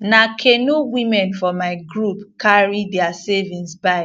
na canoe women for my group carry diir savings buy